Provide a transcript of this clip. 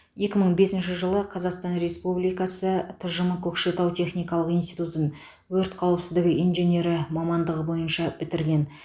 екі мың бесінші жылы қазақстан республикасы тжм көкшетау техникалық институтын өрт қауіпсіздігі инженері мамандығы бойынша бітірген